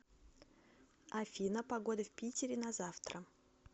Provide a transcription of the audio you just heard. афина погода в питере на завтра